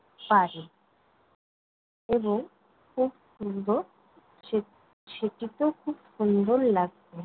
বাড়ে এবং খুব সুন্দর সে~ সেটিতেও খুব সুন্দর লাগবে।